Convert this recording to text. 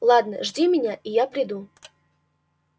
ладно жди меня и я приду